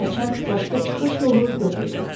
Hərçənd başqa çıxış yolu yox idi.